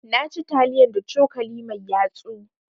Na ci taliyan da cokali mai yatsu.